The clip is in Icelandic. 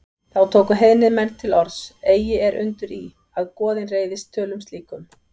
Þá tóku heiðnir menn til orðs: Eigi er undur í, að goðin reiðist tölum slíkum